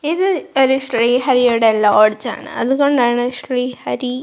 ഇത് ഒരു ശ്രീ ഹരിയുടെ ലോഡ്ജ് ആണ് അതുകൊണ്ടാണ് ശ്രീ ഹരി--